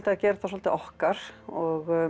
að gera þetta svolítið okkar og